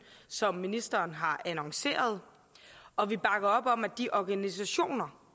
som ministeren har annonceret og vi bakker op om at de organisationer